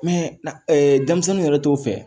denmisɛnninw yɛrɛ t'o fɛ